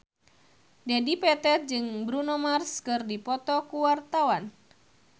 Dedi Petet jeung Bruno Mars keur dipoto ku wartawan